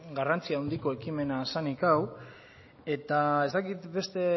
garrantzi handiko ekimena zenik hau eta ez dakit beste